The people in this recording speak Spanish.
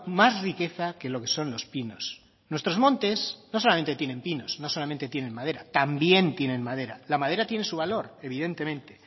más riqueza que lo que son los pinos nuestros montes no solamente tienen pinos no solamente tienen madera también tienen madera la madera tiene su valor evidentemente